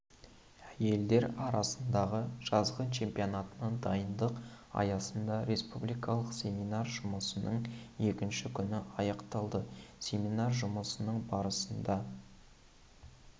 әйелдер арасындағы жазғы чемпионатына дайындық аясында республикалық семинар жұмысының екінші күні аяқталды семинар жұмысының барысында